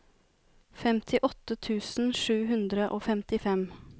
femtiåtte tusen sju hundre og femtifem